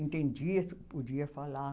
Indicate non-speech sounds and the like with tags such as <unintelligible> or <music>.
Entendia, <unintelligible> podia falar.